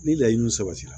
Ni laɲini sabatira